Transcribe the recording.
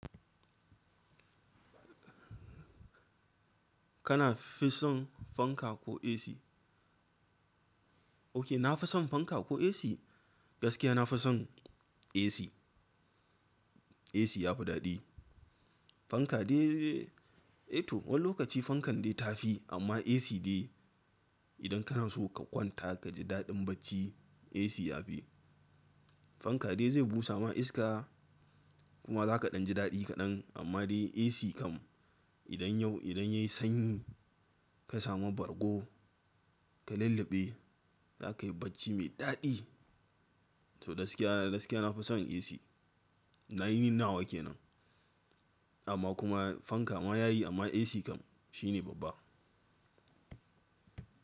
Kana fi son fanka ko AC? Oke na fi son fanka ko AC? Gaskiya na fi son AC. AC ya fi daɗi. Fanka dai, eh to wani lokaci fankan dai ta fi amma AC dai idan kana so ka kwanta ka ji daɗin bacci AC ya fi. Fanka dai zai busa ma iska kuma za ka ɗan ji daɗi kaɗan amma dai AC kam idan yau, idan yayi sanyi ka samu bargo ka lulluɓe za kayi bacci mai daɗi. To gaskiya, gaskiya na fi son AC. Na yi nina wa ke nan amma kuma fanka ma yayi amma AC kam shi ne babba.